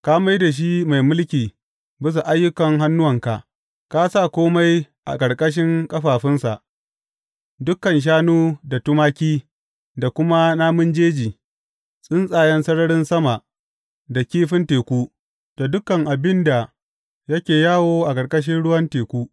Ka mai da shi mai mulki bisa ayyukan hannuwanka; ka sa kome a ƙarƙashin ƙafafunsa, dukan shanu da tumaki, da kuma namun jeji, tsuntsayen sararin sama da kifin teku, da dukan abin da yake yawo a ƙarƙashin ruwan teku.